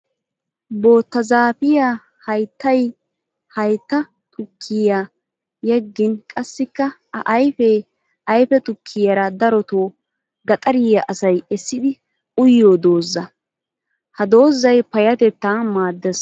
Bootta zaafiya hayittay haytta tukkiyan yeggin qassikka a ayifee ayife tukkiyaara daroto gaxariya asay essidi uyiyo dozza. Ha dozzay payyaatettaa maaddes.